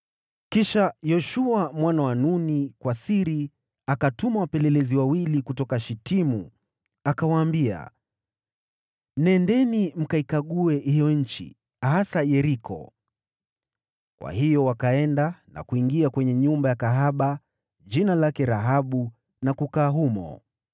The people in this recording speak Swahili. Kisha Yoshua mwana wa Nuni kwa siri akawatuma wapelelezi wawili kutoka Shitimu, akawaambia, “Nendeni mkaikague hiyo nchi, hasa Yeriko.” Kwa hiyo wakaenda na kuingia kwenye nyumba ya kahaba mmoja jina lake Rahabu na kukaa humo.